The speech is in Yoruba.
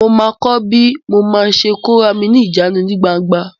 Mo ma kọ́ bí mo ma ṣe kó rami ní ìjánu ní gbangba